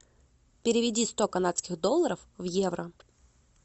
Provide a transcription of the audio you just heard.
переведи сто канадских долларов в евро